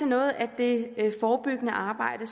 noget af det forebyggende arbejde